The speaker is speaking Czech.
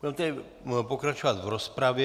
Budeme tedy pokračovat v rozpravě.